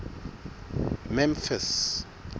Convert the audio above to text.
memphis